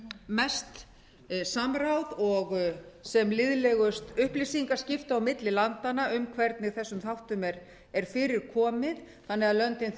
mest samráð og sem liðlegust upplýsingaskipti á milli landanna um hvernig þessum þáttum er fyrir komið þannig að löndin